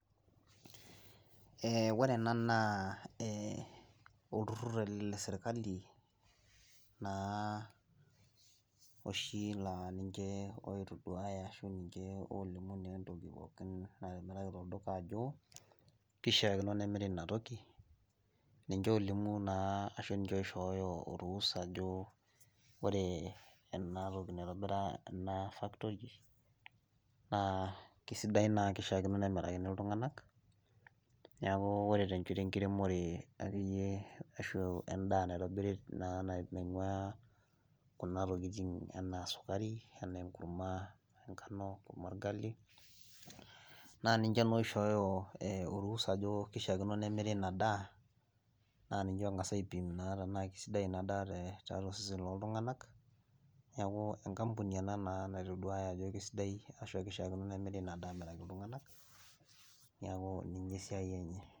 Eeh ore ena naa ee olturrurr le sirkali naa oshii laa ninche oitoduwaya ashu ninche olimu nee entoki natimiraki tolduka ajo keishaakino nemirri ina toki, ninche olimu naa ashu ninche oishoyo oruhusa ajo, ore ena toki naitobira factory naa kisidai naa keishaakino nemirakini iltungana, neeku kore te shoto ekiremore akeyie ashu endaa naitobiri nainguaa kuna tokitin enaa esukari,, enaa kurma enkano, ekurma orgali, naa ninche olimu ashu naa oishoyo oruhusa ajo keishaakino nemirri ina daaa, naa ninche oiga's aipim naa kisidai inaa te tiatua seseni oo iltungana, neeku enkapuni ena naa natoduaa ajo kisidai ashu aa keishaakino nemirri ina daaa aamiraki iltungana, neeku ninye esiai enye.